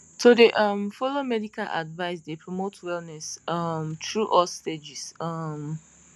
to dey um follow medical advice dey promote wellness um through all stages um